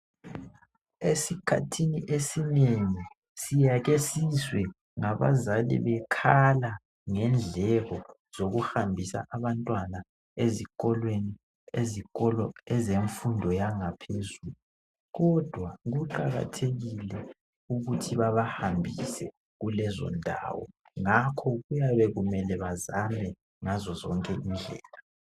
Esikhathini esinengi siyake sizwe ngabazali bekhala ngendleko zokuhambisa abantwana ezikolweni ezikolo ezemfundo yangaphezulu kodwa kuqakathekile ukuthi babahambise kulezondawo. Ngakho kuyabe kumele bazame ngazozonke indlela.